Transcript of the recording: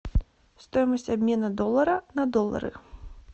стоимость обмена доллара на доллары